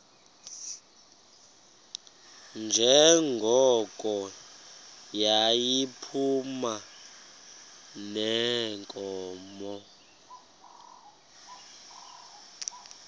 njengoko yayiphuma neenkomo